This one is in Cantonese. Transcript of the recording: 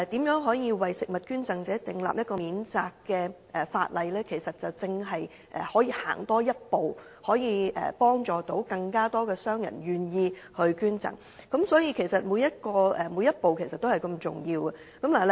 如果能夠為食物捐贈者訂立一項免責的法例，便可以多踏前一步，讓更多商戶願意捐贈，所以每一步均同樣重要。